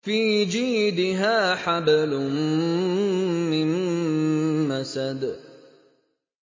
فِي جِيدِهَا حَبْلٌ مِّن مَّسَدٍ